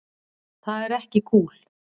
Það er ekki kúl.